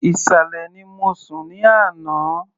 Ìsàlẹ̀ ni mo sùn ní àná.